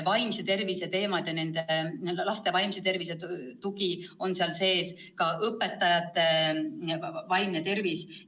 Vaimse tervise teemad ja laste vaimse tervise tugi on seal sees, samuti õpetajate vaimse tervise teema.